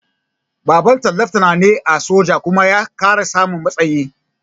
Babanta leftanar ne a soja kuma ya sami ƙarin matsayi